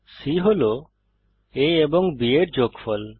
c হল a ও b এর যোগফল